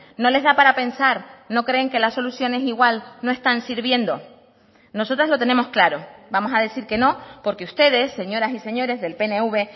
no les da para pensar no creen que las soluciones igual no están sirviendo nosotras lo tenemos claro vamos a decir que no porque ustedes señoras y señores del pnv